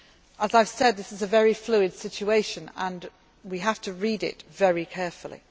Libyan people. As I have said, this is a very fluid situation and we have to read it